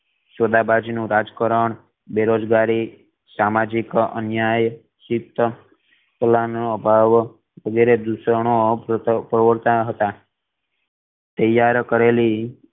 સોદાબાજ નુ રાજકરણ બેરોજગારી સામાજિક અન્યાય સહીત કલાનો અભાવ વગેરે દિવાસો ના અપ્રવૃર્ત્ત હતા તૈયાર કરેલી